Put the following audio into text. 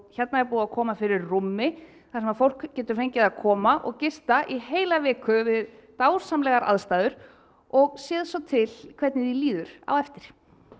hérna er búið að koma fyrir rúmi þar sem fólk getur fengið að koma og gista í heila viku við dásamlegar aðstæður og séð svo til hvernig því líður á eftir